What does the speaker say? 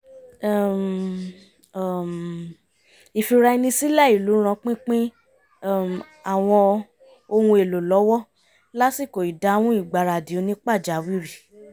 um um ìfira-ẹni-sílẹ̀ ìlú ran pínpín um àwọn ohun èlò lọ́wọ́ lásìkò ìdáhùn ìgbaradì onípàjáwìrì